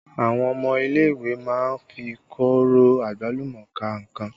Àwọn ọmọ ilé ìwé má ń fi kóro àgbálùmọ́ ka nǹkan